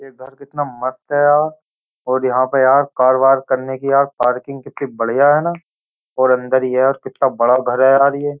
ये घर कितना मस्त है यार और यहाँ पे यार कार वार करने की यार पार्किंग कितनी बढ़िया है न और अन्दर ये यार कितना बड़ा घर है यार ये।